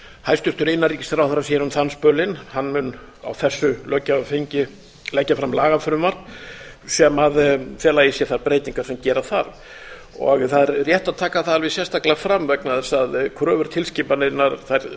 hæstvirtur innanríkisráðherra sér um þann spölinn hann mun á þessu löggjafarþingi leggja fram lagafrumvarp sem felur í sér þær breytingar sem gera þarf það er rétt að taka það alveg sérstaklega fram vegna þess að kröfur tilskipunarinnar